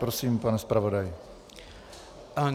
Prosím, pane zpravodaji.